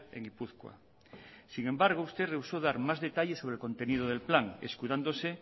en gipuzkoa sin embargo usted rehusó dar más detalles sobre el contenido del plan escudándose